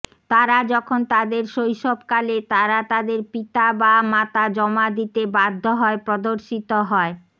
তারা যখন তাদের শৈশবকালে তারা তাদের পিতা বা মাতা জমা দিতে বাধ্য হয় প্রদর্শিত হয়